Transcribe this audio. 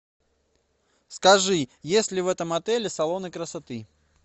скажи есть ли в этом отеле салоны красоты